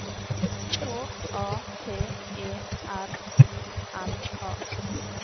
K A T E R I N A